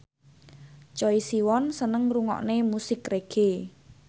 Choi Siwon seneng ngrungokne musik reggae